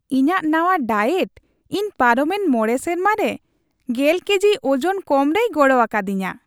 ᱤᱧᱟᱹᱜ ᱱᱟᱶᱟ ᱰᱟᱭᱮᱴ ᱤᱧ ᱯᱟᱨᱚᱢᱮᱱ ᱕ ᱥᱮᱨᱢᱟ ᱨᱮ ᱑᱐ ᱠᱮᱡᱤ ᱳᱡᱚᱱ ᱠᱚᱢ ᱨᱮᱭ ᱜᱚᱲᱚ ᱟᱠᱟᱫᱤᱧᱟᱹ ᱾